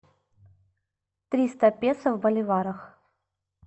триста песо в боливарах